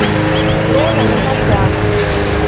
дрона минасяна